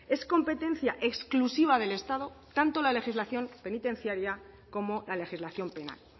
es competencia exclusiva del estado tanto la legislación penitenciaria como la legislación penal